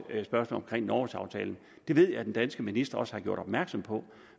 spørgsmålet omkring norgesaftalen det ved jeg at den danske minister også har gjort opmærksom på